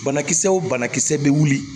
Banakisɛ o banakisɛ bɛ wuli